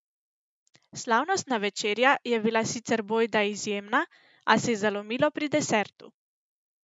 Slavnostna večerja je bila sicer bojda izjemna a se je zalomilo pri desertu.